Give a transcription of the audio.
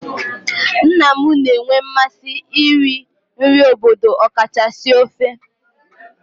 Nna m na-enwe mmasị iri nri obodo okachasị ofe